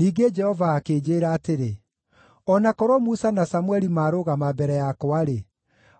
Ningĩ Jehova akĩnjĩĩra atĩrĩ: “O na korwo Musa na Samũeli maarũgama mbere yakwa-rĩ,